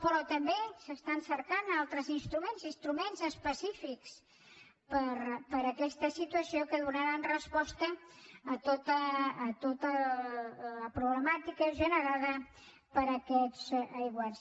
però també es cerquen altres instruments instruments específics per a aquesta situació que donaran resposta a tota la problemàtica generada per aquests aiguats